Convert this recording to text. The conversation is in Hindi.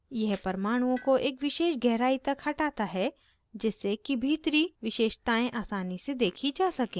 यह परमाणुओं को एक विशेष गहराई तक हटाता है जिससे कि भीतरी विशेषतायें आसानी से देखी जा सके